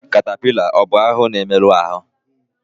Katapila ọ bụ ahụhụ na-emerụ ahụ?